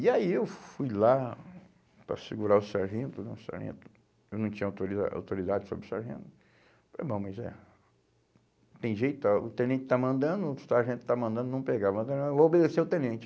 E aí eu fui lá para segurar o sargento né, o sargento, eu não tinha autorida, autoridade sobre o sargento, falei, bom, mas é, tem jeito, ãh o tenente está mandando, o sargento está mandando, não pegar, mas ah eu vou obedecer ao tenente.